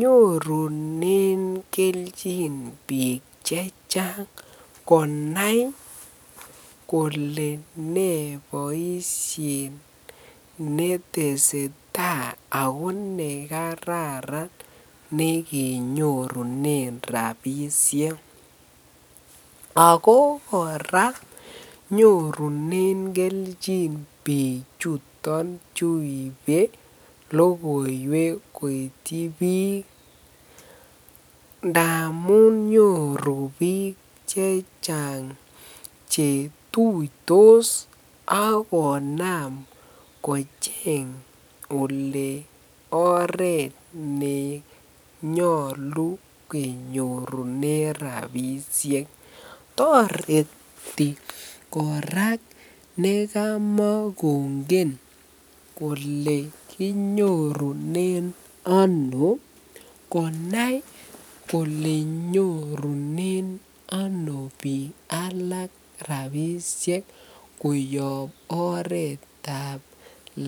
Nyorunen kelchin biik chechang konai kolee nee boishet neteseta ak ko nekararan nekenyorunen rabishek ak ko kora nyorunen kelchin bichuton chuibe lokoiwek koityi biik ndamun nyoru biik chechang chetuitos ak konam kocheng olee oreet nenyolu kenyorunen rabishek, toreti kora nekamakongen kolee kinyorunen anoo konai kolee nyorunen anoo biik alak rabishek koyob oreetab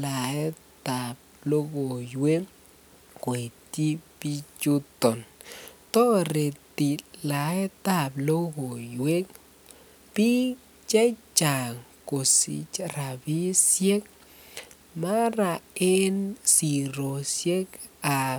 laetab lokoiwek koityi bichuton, toreti laetab lokoiwek biik chechang kosich rabishek mara en siroshekab.